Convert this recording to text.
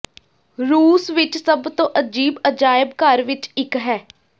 ਰੂਸ ਵਿਚ ਸਭ ਤੋਂ ਅਜੀਬ ਅਜਾਇਬ ਘਰ ਵਿਚ ਇਕ ਹੈ